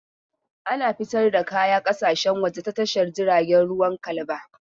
Ana fita da kaya ƙasashen waje ta Tashar jiragen ruwan Kalaba.